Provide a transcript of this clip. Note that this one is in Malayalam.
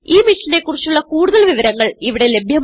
ഈ മിഷനെ കുറിച്ചുള്ള കുടുതൽ വിവരങ്ങൾ ഇവിടെ ലഭ്യമാണ്